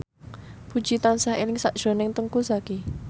Puji tansah eling sakjroning Teuku Zacky